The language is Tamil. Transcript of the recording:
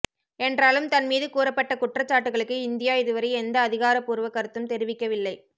என்றாலும் தன்மீது கூறப்பட்ட குற்றச்சாட்டுகளுக்கு இந்தியா இதுவரை எந்த அதிகாரப்பூர்வ கருத்தும் தெரிவிக்கவில்லை